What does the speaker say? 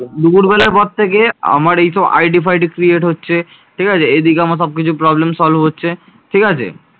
দুপুর বেলার পর থেকে আমার এইসব ID ফাইডি create হচ্ছে ঠিকাছে। এদিকে আমার সব কিছু problem solve হচ্ছে ঠিকাছে।